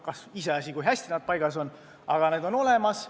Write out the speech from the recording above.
Iseasi, kui hästi see on paigas, aga see on olemas.